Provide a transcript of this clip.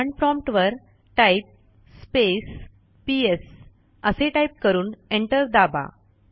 command prompt वर type space PS असे type करून एंटर दाबा